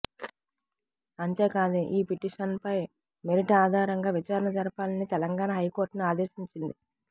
అంతేకాదు ఈ పిటిషన్పై మెరిట్ ఆధారంగా విచారణ జరపాలని తెలంగాణ హైకోర్టును ఆదేశించింది